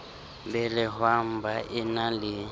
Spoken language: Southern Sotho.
belehwang ba e na le